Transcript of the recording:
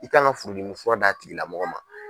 I kan ka furudimi fura d'a tigi lamɔgɔ ma.